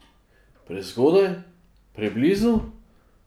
Prezgodaj, preblizu?